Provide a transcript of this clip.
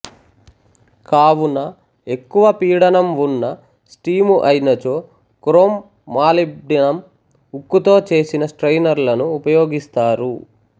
కావున ఎక్కువ పీడనం వున్న స్టీము అయినచో క్రోమ్ మాలిబ్డినం ఉక్కుతో చేసిన స్ట్రయినరులను ఉపయోగిస్తారు